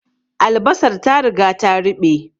Albasar ta riga ta ruɓe